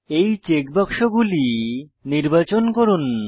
এই চেক বাক্স গুলি নির্বাচন করুন